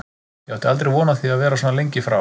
Ég átti aldrei von á því að vera svona lengi frá.